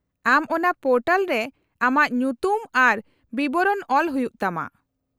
-ᱟᱢ ᱚᱱᱟ ᱯᱚᱨᱴᱟᱞ ᱨᱮ ᱟᱢᱟᱜ ᱧᱩᱛᱩᱢ ᱟᱨ ᱵᱤᱵᱚᱨᱚᱱ ᱚᱞ ᱦᱩᱭᱩᱜ ᱛᱟᱢᱟ ᱾